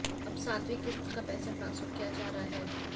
अब सातवीं किस्त का पैसा ट्रांसफर किया जा रहा है